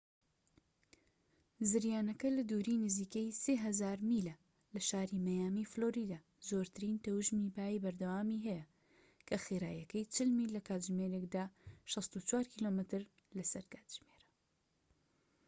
زریانەکە لە دووری نزیکەی 3000 میلە لە شاری مەیامی فلۆریدا، زۆرترین تەوژمی بای بەردەوامی هەیە کە خێراییەکەی 40 میل لە کاتژمێرێکدا 64 کیلۆمەتر لە سەر کاتژمێرە